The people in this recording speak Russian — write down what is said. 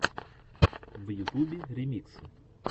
в ютубе ремиксы